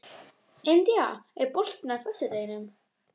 India, er bolti á föstudaginn?